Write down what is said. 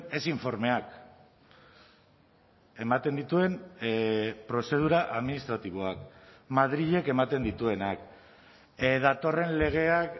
ez informeak ematen dituen prozedura administratiboak madrilek ematen dituenak datorren legeak